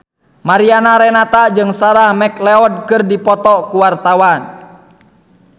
Mariana Renata jeung Sarah McLeod keur dipoto ku wartawan